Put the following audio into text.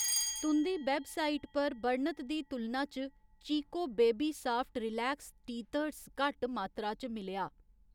तुं'दी वैबसाइट पर बर्णत दी तुलना च Chicco baby soft relax teethers घट्ट मात्तरा च मिलेआ